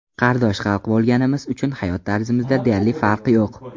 Qardosh xalq bo‘lganimiz uchun hayot tarzimizda deyarli farq yo‘q.